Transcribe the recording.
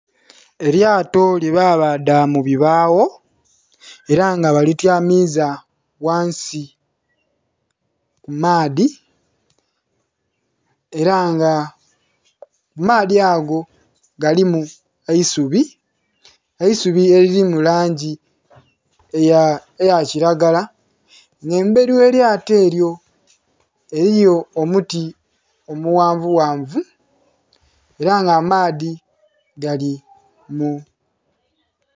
Elyato lyebabaadha mu bibaawo ela nga balityamiiza ghansi ku maadhi, ela ng'amaadhi ago galimu eisubi, eisubi elili mu langi eya kilagala. Nga embeli ye lyato elyo eliyo omuti omughanvughanvu, ela nga amaadhi gali mu...